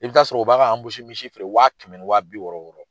I bɛ t'a sɔrɔ u b'a ka misi feere waa kɛmɛ ni waa bi wɔɔrɔ.